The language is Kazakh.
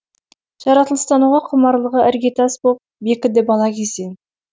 жаратылыстануға құмарлығы іргетас боп бекіді бала кезден